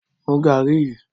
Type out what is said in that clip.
Mú garri yí!